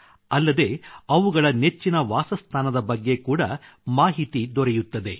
ಅಲ್ಲದೆ ಅವುಗಳ ನೆಚ್ಚಿನ ವಾಸಸ್ಥಾನದ ಬಗ್ಗೆ ಕೂಡ ಮಾಹಿತಿ ದೊರೆಯುತ್ತದೆ